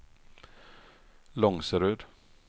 Långserud